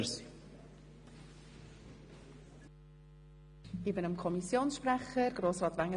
Das Wort hat der Kommissionssprecher Grossrat Wenger.